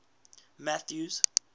mathews